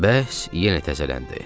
Bəhs yenə təzələndi.